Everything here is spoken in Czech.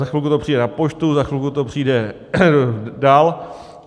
Za chvilku to přijde na poštu, za chvilku to přijde dál.